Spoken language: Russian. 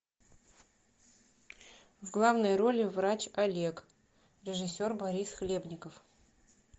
в главной роли врач олег режиссер борис хлебников